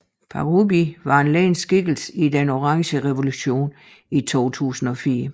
Parubíj var en ledende skikkelse i Den orange revolution i 2004